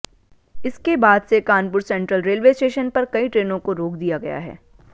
इसके बाद से कानपुर सेट्रल रेलवे स्टेशन पर कई ट्रेनों को रोक दिया गया है